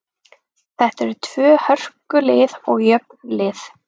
Þetta eru tvö hörku lið og jöfn lið.